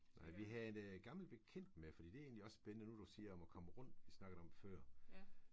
Nej vi havde en gammel bekendt med fordi det er egentlig også spændende nu du siger om at komme rundt vi snakkede om før